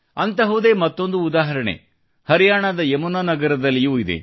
ಅಂತಹದ್ದೇ ಮತ್ತೊಂದು ಉದಾಹರಣೆ ಹರಿಯಾಣದ ಯಮುನಾ ನಗರದಲ್ಲಿಯೂ ಇದೆ